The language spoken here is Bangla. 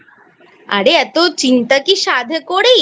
আরে এত চিন্তা কি সাধে করি?